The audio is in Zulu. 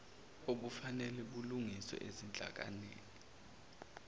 obufanele bulungiswe ezinhlakeni